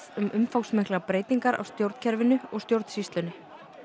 um umfangsmiklar breytingar á stjórnkerfinu og stjórnsýslunni